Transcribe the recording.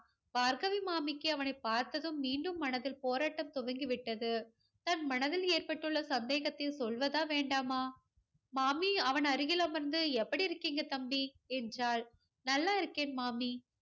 பார்கவி மாமிக்கு அவனை பார்த்ததும் மீண்டும் மனதில் போராட்டம் துவங்கி விட்டது. தன் மனதில் ஏற்பட்டுள்ள சந்தேகத்தை சொல்வதா வேண்டாமா? மாமி அவன் அருகில் அமர்ந்து எப்படி இருக்கீங்க தம்பி என்றாள். நல்லா இருக்கேன் மாமி.